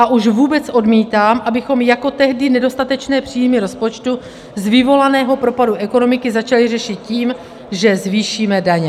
A už vůbec odmítám, abychom jako tehdy nedostatečné příjmy rozpočtu z vyvolaného propadu ekonomiky začali řešit tím, že zvýšíme daně.